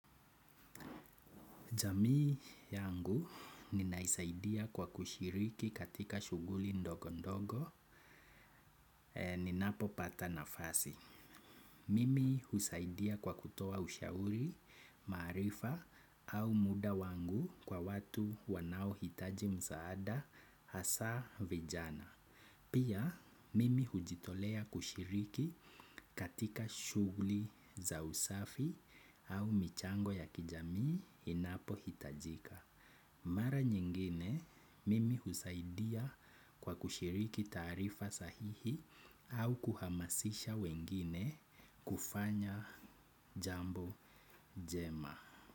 Jamii yangu ninaisaidia kwa kushiriki katika shughuli ndogo ndogo, ninapopata nafasi. Mimi husaidia kwa kutoa ushauri, maarifa au muda wangu kwa watu wanaohitaji msaada hasa vijana. Pia, mimi hujitolea kushiriki katika shughuli za usafi au michango ya kijamii inapohitajika. Mara nyingine mimi husaidia kwa kushiriki taarifa sahihi au kuhamasisha wengine kufanya jambo jema.